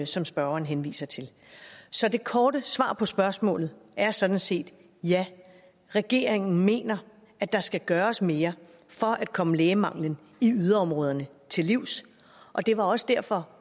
som spørgeren henviser til så det korte svar på spørgsmålet er sådan set ja regeringen mener at der skal gøres mere for at komme lægemangelen i yderområderne til livs det var også derfor